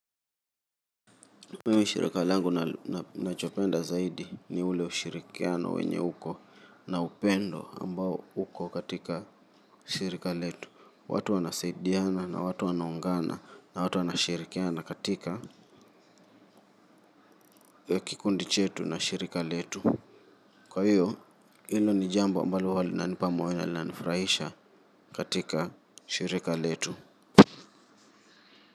Mimi shirika langu nachopenda zaidi ni ule ushirikiano wenye uko na upendo ambao uko katika shirika letu. Watu wanasaidiana na watu wanaungana. Na watu wanashirikiana katika kikundi chetu na shirika letu. Kwa hiyo, hilo ni jambo ambalo huwa linanipa moyo na linanifurahisha katika shirika letu.